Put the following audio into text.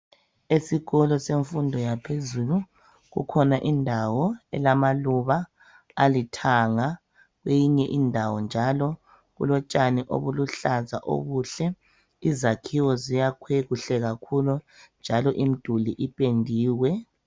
Esikolo semfundo yaphezulu kukhona indawo elamaluba alithanga. Kweyinye indawo njalo kulotshani obuluhlaza obuhle. Izakhiwo ziyakhiwe kuhle kakhulu njalo imiduli ipendiwe.